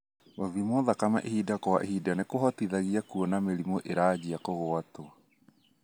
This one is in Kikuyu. Gũthimwo thakame ihinda kwa ihinda nĩkũhotithagia kũona mĩrimũ ĩranjia kũgwatwo.